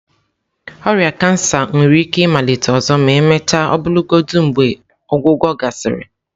Ọrịa kansa nwere ike ịmalite ọzọ ma emechaa ọbụlagodi mgbe ọgwụgwọ gasịrị.